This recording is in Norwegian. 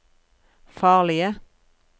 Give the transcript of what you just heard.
farlige